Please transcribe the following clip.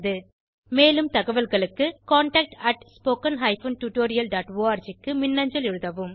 மேலும் தகவல்களுக்கு contactspoken tutorialorg க்கு மின்னஞ்சல் எழுதவும்